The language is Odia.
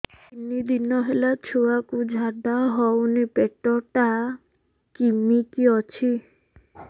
ତିନି ଦିନ ହେଲା ଛୁଆକୁ ଝାଡ଼ା ହଉନି ପେଟ ଟା କିମି କି ଅଛି